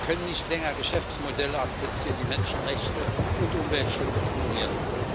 Wir können nicht länger Geschäftsmodelle akzeptieren, die Menschenrechte und Umweltschutz ignorieren.